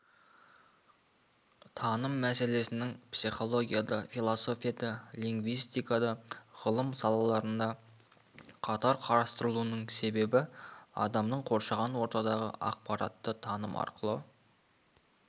таным мәселесінің психологияда философияда лингвистикада ғылым салаларында қатар қарастырылуының себебі адамның қоршаған ортадағы ақпаратты таным арқылы